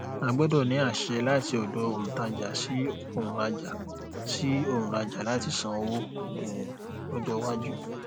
ó gbọdọ ní àṣẹ láti ọdọ òǹtajà sí òǹrajà sí òǹrajà láti san owó um lọjọ iwájú